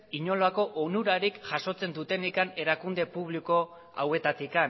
inolako onurarik jasotzen dutenik erakunde publiko hauetatik